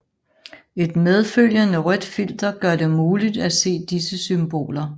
Et medfølgende rødt filter gør det muligt at se disse symboler